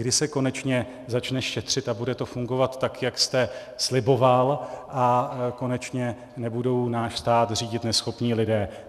Kdy se konečně začne šetřit a bude to fungovat tak, jak jste sliboval, a konečně nebudou náš stát řídit neschopní lidé.